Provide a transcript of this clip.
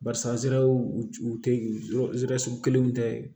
Barisa nsɛrɛ u tɛ yɔrɔ sugu kelenw tɛ